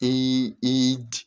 I i